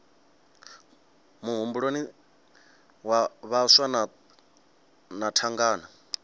muhumbuloni dza vhaswa na thangana